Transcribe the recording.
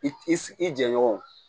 I i jɛɲɔgɔnw